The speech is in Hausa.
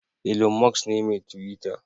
Ilon Musk ne mai Twita.